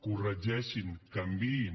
corregeixin canviïn